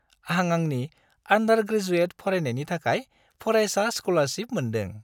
आं आंनि आन्डार-ग्रेजुएट फरायनायनि थाखाय फरायसा स्क'लारसिप मोनदों।